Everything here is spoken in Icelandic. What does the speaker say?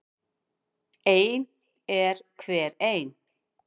Ein er hver ein.